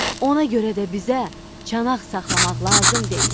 Ona görə də bizə çanaq saxlamaq lazım deyil.